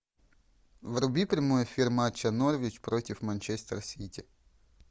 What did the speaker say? вруби прямой эфир матча норвич против манчестер сити